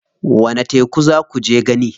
Wani teku za kuje gani?